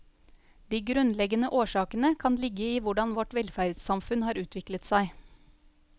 De grunnleggende årsakene kan ligge i hvordan vårt velferdssamfunn har utviklet seg.